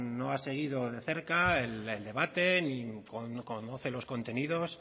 no ha seguido ni de cerca el debate ni conoce los contenidos